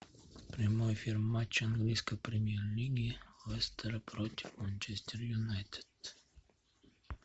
прямой эфир матча английской премьер лиги лестера против манчестер юнайтед